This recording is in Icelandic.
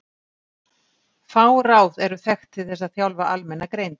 Fá ráð eru þekkt til þess að þjálfa almenna greind.